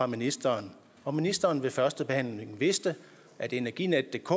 ministeren om ministeren ved førstebehandlingen vidste at energinetdk